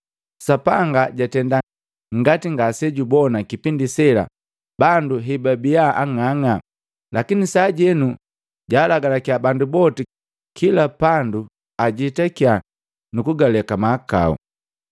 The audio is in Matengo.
Sapanga jatenda ngati ngase jubona kipindi sela bandu hebabi ang'ang'a. Lakini sajenu, jaalagalakiya bandu boti kila pandu ajetakiya nukugaleka mahakau.”